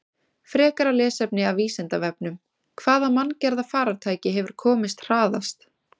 Frekara lesefni af Vísindavefnum: Hvaða manngerða farartæki hefur komist hraðast?